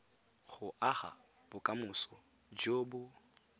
go aga bokamoso jo bo